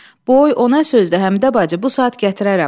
Səkinə, boy, o nə sözdür, Həmidə bacı, bu saat gətirərəm.